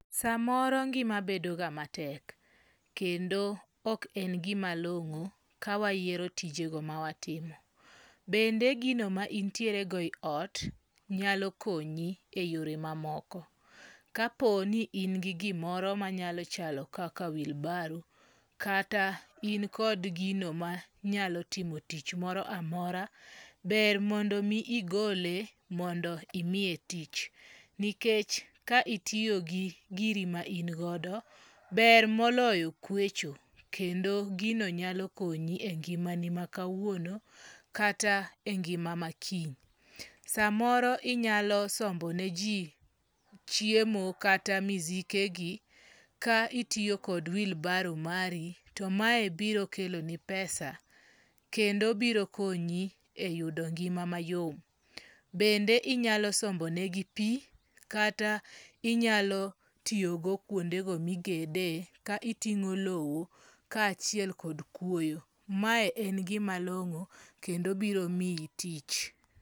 Samoro ngima bedo ga matek. Kendo ok en gima long'o ka wayiero tijego ma watimo. Bende gino ma intiere go e ot nyalo konyi e yore ma moko. Ka po ni in gigimoro manyalo chalo kaka wheelbarrow kata in kod gino ma nyalo timo tich moro amora, ber mondo mi igole mondo imiye tich. Nikech ka itiyo gi giri ma in godo, ber moloyo kwecho. Kendo gino nyalo konyi e ngima ni ma kawuono kata e ngima ma kiny. Samoro inyalo sombo ne ji chiemo kata misike gi ka itiyo kod wheelburrow mari to mae biro keloni pesa. Kendo biro konyi e yudo ngima mayom. Bende inyalo sombo ne gi pi kata inyalo tiyogo kwondego migede ka iting'o low ka achiel kod kwoyo. Mae en gima long'o kendo biro miyi tich.